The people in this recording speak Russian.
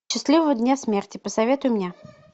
счастливого дня смерти посоветуй мне